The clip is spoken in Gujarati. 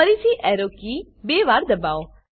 ફરીથી એરો કી બે વાર દબાવો